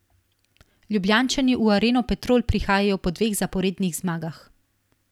Ljubljančani v Areno Petrol prihajajo po dveh zaporednih zmagah.